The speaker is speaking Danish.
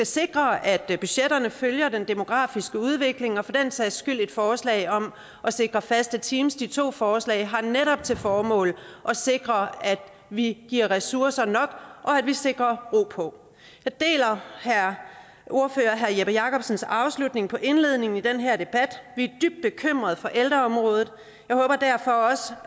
sikre at budgetterne følger den demografiske udvikling og for den sags skyld også et forslag om at sikre faste teams de to forslag har netop til formål at sikre at vi giver ressourcer nok og at vi sikrer ro på jeg deler ordfører jeppe jakobsens afslutning på indledningen i den her debat vi er dybt bekymrede for ældreområdet jeg håber derfor også